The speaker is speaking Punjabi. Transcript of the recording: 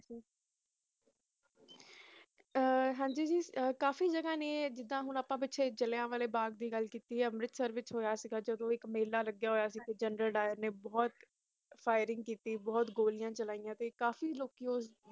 ਹਨ ਜੀ ਕਾਫੀ ਜਗ੍ਹਾਂ ਨੇ ਜਿਥੇ ਪਿੱਛੇ ਅੱਸੀ ਜਾਲੀਆਂ ਵਾਲੇ ਬਾਗ਼ ਦੀ ਗੱਲ ਕਿੱਤੀ ਹੈ ਉਥੇ ਹੋਇਆ ਸੀ ਹੋਏ ਸੀ ਇਕ ਮੱਲਾ ਲੱਗਿਆ ਸੀ ਉਥੇ ਜਨਰਲ ਦੇਰ ਨੇ ਬੋਹਤ ਫਰਿੰਗ ਕਿੱਤੀ ਬੋਹਤ ਗੋਲੀਆਂ ਚਲਾਯੰ ਤੇ ਕਾਫੀ ਲੋਕ ਉਸ